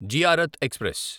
Ziarat express